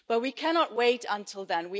But we cannot wait until then.